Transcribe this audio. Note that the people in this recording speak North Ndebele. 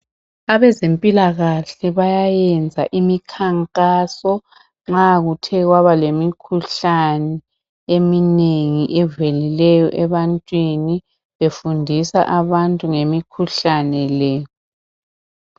Abezempilakahle bayayenza imikhankaso nxa kuthe kwaba lemikhuhlane eminengi evelileyo ebantwini befundisa abantu ngemikhuhlane le.